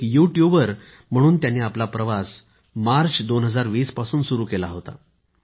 एक युट्युबर म्हणून त्यांनी आपला प्रवास मार्च 2020 पासून सुरु केला होता